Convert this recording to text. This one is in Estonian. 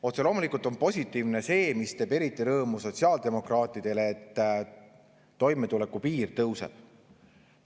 Otse loomulikult on positiivne see, mis teeb eriti rõõmu sotsiaaldemokraatidele, et toimetulekupiir tõuseb.